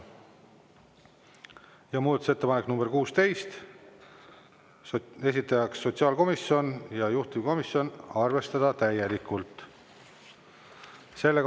Ja muudatusettepanek nr 16, esitajaks sotsiaalkomisjon ja juhtivkomisjon: arvestada täielikult.